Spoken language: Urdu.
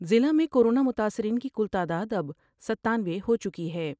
ضلع میں کورونا متاثرین کی کل تعداداب ستانوے ہو چکی ہے ۔